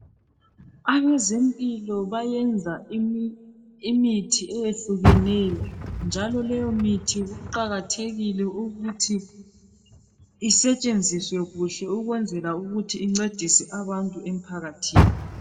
Abezempilakahle bayenza imithi eyehlukeneyo njalo leyomithi kuqakathekile ukuthi isetshenziswe kuhle ukwenzela ukuthi incedise abantu emphakathini.